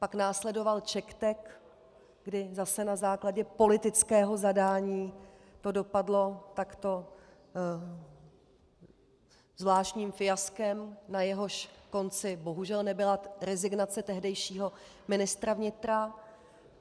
Pak následoval CzechTek, kdy zase na základě politického zadání to dopadlo takto zvláštním fiaskem, na jehož konci bohužel nebyla rezignace tehdejšího ministra vnitra.